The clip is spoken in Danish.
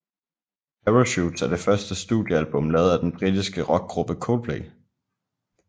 Parachutes er det første studiealbum lavet af den britiske rockgruppe Coldplay